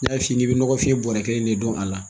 N'a f'i k'i bi nɔgɔfin bɔrɔ kelen de dɔn a la